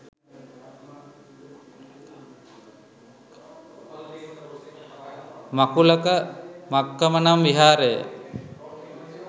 මකුලක මක්කම නම් විහාරය